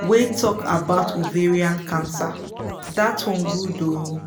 wey talk about ovarian cancer that one good ooo